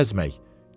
Nə gəzmək?